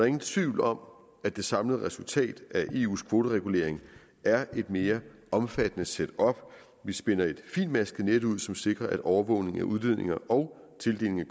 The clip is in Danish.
ingen tvivl om at det samlede resultat af eus kvoteregulering er et mere omfattende setup vi spænder et fintmasket net ud som sikrer at overvågning af udledninger og tildelinger